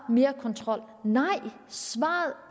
er mere kontrol nej svaret